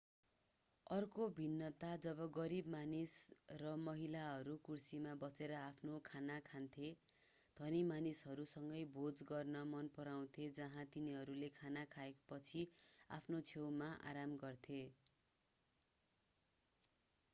अर्को भिन्नता जब गरिब मानिस र महिलाहरूले कुर्सीमा बसेर आफ्नो खाना खान्थे धनी मानिसहरू सँगै भोज गर्न मन पराउँथे जहाँ तिनीहरूले खाना खाएपछि आफ्नो छेउमा आराम गर्थे